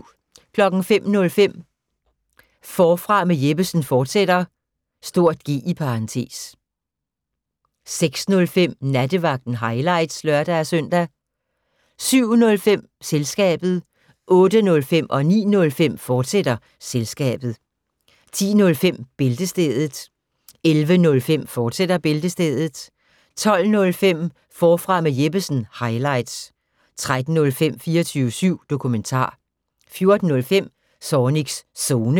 05:05: Forfra med Jeppesen fortsat (G) 06:05: Nattevagten – highlights (lør-søn) 07:05: Selskabet 08:05: Selskabet, fortsat 09:05: Selskabet, fortsat 10:05: Bæltestedet 11:05: Bæltestedet, fortsat 12:05: Forfra med Jeppesen – highlights 13:05: 24syv Dokumentar 14:05: Zornigs Zone